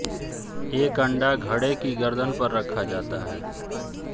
एक अंडा घड़े की गर्दन पर रखा जाता है